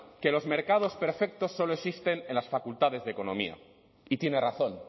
que los mercados perfectos solo existen en las facultades de economía y tiene razón